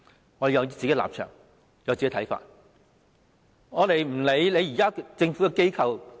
我們有本身的立場和看法，無須理會政府架構。